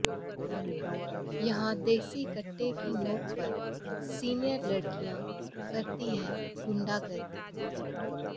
यहां देसी कट्टे की नोक पर सीनियर लड़कियां करती हैं गुंडागर्दी